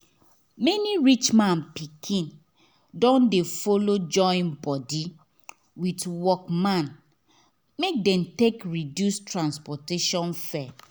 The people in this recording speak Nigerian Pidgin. many rich man pikin don dey follow join body with workman make dem take reduce transport fare